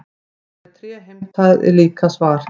Dóri tré heimtaði líka svar.